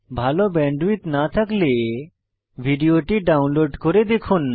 ভাল ব্যান্ডউইডথ না থাকলে ভিডিওটি ডাউনলোড করে দেখুন